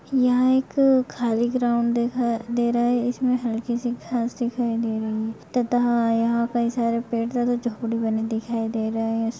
यहां एक खाली ग्राउंड दिखाई दे रहा है इसमें हल्की सी घांस दिखाई दे रही है तथा यहां कई सारे पेड़ तथा झोपड़ी बनी दिखाई दे रहा है।